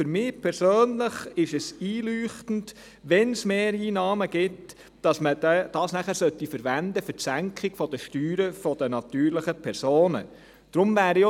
Für mich persönlich ist es einleuchtend, dass man, wenn es Mehreinnahmen gibt, diese nachher für die Senkung der Steuern der natürlichen Personen verwendet.